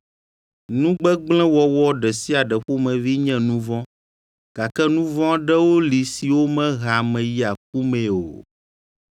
Nu gbegblẽ wɔwɔ ɖe sia ɖe ƒomevi nye nu vɔ̃, gake nu vɔ̃ aɖewo li siwo mehea ame yia ku mee o.